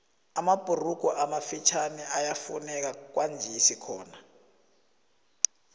amabhurugu amafitjhani ayafuneka kwanjesi khona